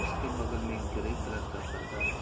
इसके बगल में एक ग्रे कलर का पर्दा है।